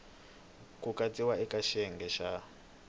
ku katsiwa eka xiyenge xa